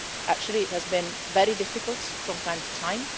Actually, it has been very difficult from time to time.